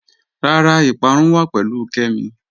Rárá, ìpárún wà pẹ̀lú Kẹ́mí